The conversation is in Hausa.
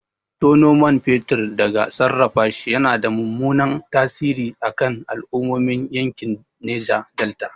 Tono man fetur da sarrafashi yana da mummunan tasiri a kan al'ummomin yankin Neja Delta.